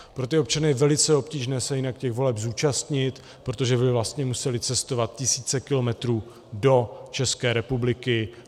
Pro ty občany je velice obtížné se jinak těch voleb zúčastnit, protože by vlastně museli cestovat tisíce kilometrů do České republiky.